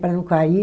Para não cair.